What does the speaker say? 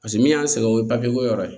Paseke min y'an sɛgɛn o ye ko yɔrɔ ye